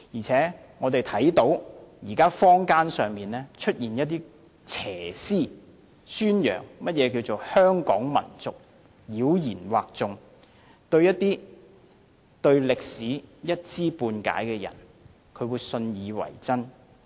此外，現時坊間出現一些邪思，宣揚何謂香港民族，妖言惑眾，一些對歷史一知半解的人會信以為真。